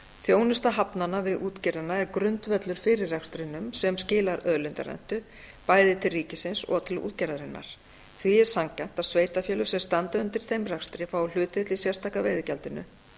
þjónusta hafnanna við útgerðina er grundvöllur fyrir rekstrinum sem skilar auðlindarentu bæði til ríkisins og til útgerðarinnar því er sanngjarnt að sveitarfélög sem standa undir þeim rekstri fái hlutdeild í sérstaka veiðigjaldinu